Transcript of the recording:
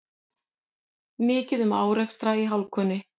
Mikið um árekstra í hálkunni